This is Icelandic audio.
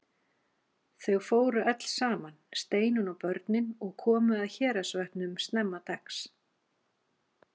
Þau fóru öll saman, Steinunn og börnin, og komu að Héraðsvötnum snemma dags.